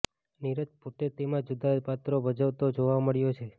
નીરજ પોતે તેમાં જુદા જુદા પાત્રો ભજવતો જોવા મળ્યો છે